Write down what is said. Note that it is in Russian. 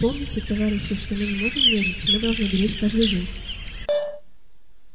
помните товарищи что мы не можем медлить мы должны беречь каждый день